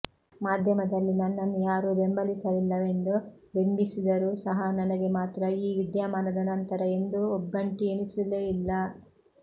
ಮಾಧ್ಯಮದಲ್ಲಿ ನನ್ನನ್ನು ಯಾರೂ ಬೆಂಬಲಿಸಲಿಲ್ಲವೆಂದು ಬಿಂಬಿಸಿದರು ಸಹ ನನಗೆ ಮಾತ್ರ ಈ ವಿದ್ಯಮಾನದ ನಂತರ ಎಂದೂ ಒಬ್ಬಂಟಿಯೆನಿಸಲೇ ಇಲ್ಲ